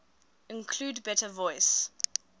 include better voice